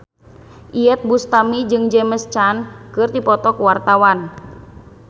Iyeth Bustami jeung James Caan keur dipoto ku wartawan